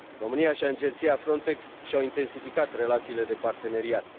România și agenția FRONTEX și au intensificat relațiile de parteneriat.